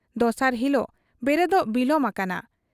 ᱫᱚᱥᱟᱨ ᱦᱤᱞᱚᱜ ᱵᱮᱨᱮᱫᱚᱜ ᱵᱤᱞᱚᱢ ᱟᱠᱟᱱᱟ ᱾